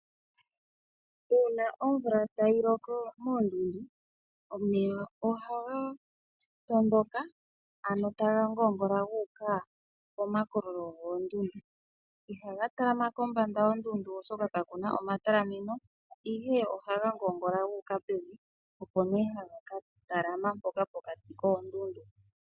Uuna omvula tayi loko moondundu, omeya ohaga tondoka, ano taga ngoongola gu uka pomakololo goondundu. Ihaga talama kombanda yondundu oshoka kaku na omatalameno, ihe ohaga ngoongola gu uka pevi, opo nee haga ka talama mpoka pokati koondundu.